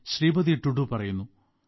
ശ്രീപതി ടുഡു പറയുന്നു